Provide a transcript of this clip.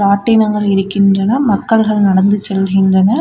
ராட்டினங்கள் இருக்கின்றன மக்கள்கள் நடந்து செல்கின்றனர்.